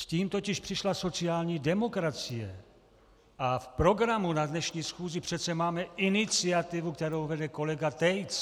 S tím totiž přišla sociální demokracie a v programu na dnešní schůzi přece máme iniciativu, kterou vede kolega Tejc.